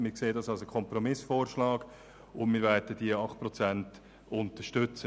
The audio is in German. Wir sehen in diesem einen Kompromissvorschlag und werden die 8 Prozent unterstützen.